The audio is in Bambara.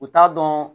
U t'a dɔn